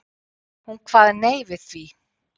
Hún kvað nei við því.